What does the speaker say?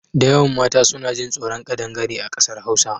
Dayawan mata suna jin tsoron ƙadangare a ƙasar Hausa.